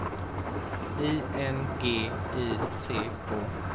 I N G I C K